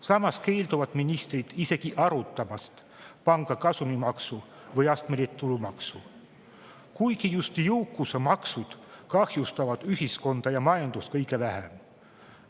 Samas keelduvad ministrid isegi arutamast panga kasumimaksu või astmelist tulumaksu, kuigi just jõukusemaksud kahjustavad ühiskonda ja majandust kõige vähem.